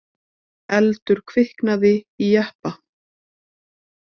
Eldur kviknaði í jeppa